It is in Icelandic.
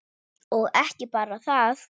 Og ekki bara það: